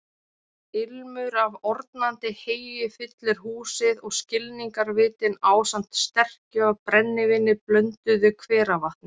Ilmur af ornandi heyi fyllir húsið og skilningarvitin ásamt sterkju af brennivíni blönduðu hveravatni.